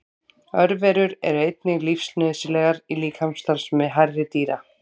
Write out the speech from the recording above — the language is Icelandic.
Örverur eru einnig lífsnauðsynlegar í líkamsstarfsemi hærri dýra.